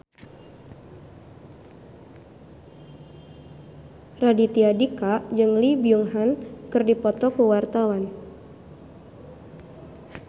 Raditya Dika jeung Lee Byung Hun keur dipoto ku wartawan